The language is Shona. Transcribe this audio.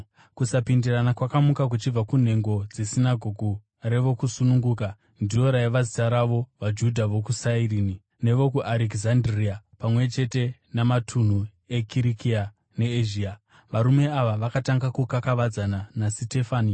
Kusapindirana kwakamuka, kuchibva kunhengo dzeSinagoge reVokusununguka (ndiro raiva zita ravo), vaJudha vokuSairini nevokuArekizandiria pamwe chete namatunhu eKirikia neEzhia. Varume ava vakatanga kukakavadzana naSitefani,